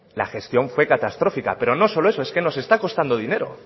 la gestión fue catastrófica pero no solo eso es que nos está costando dinero